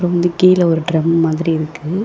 வந்து கீழ ஒரு ட்ரம் மாதிரி இருக்கு.